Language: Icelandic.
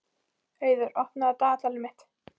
Auður, opnaðu dagatalið mitt.